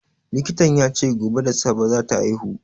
Likitan ya ce gobe da safe za ta haihu.